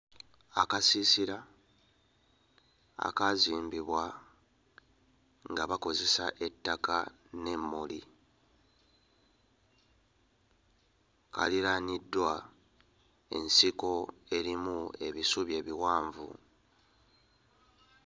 Akasiisira akaazimbibwa nga bakozesa ettaka n'emmuli kaliraaniddwa ensiko erimu ebisubi ebiwanvu.